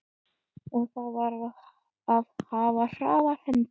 Og þar varð að hafa hraðar hendur.